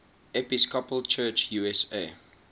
episcopal church usa